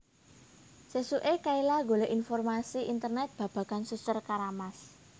Sesuke Kayla golek informasi ing Internet babagan Suster Keramas